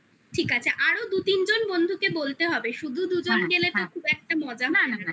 ঠিক আছে আরো দু তিনজন বন্ধুকে বলতে হবে শুধু দুজন গেলে তো খুব একটা মজা না